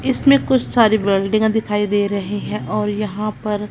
इसमें कुछ सारे बेल्डिंगा दिखाई दे रहे हैं और यहां पर--